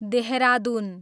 Dehradun